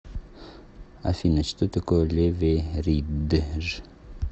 афина что такое леверидж